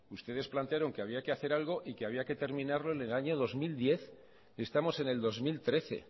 ustedes plantearon que había que hacer algo y que había que terminarlo en el año dos mil diez y estamos en el dos mil trece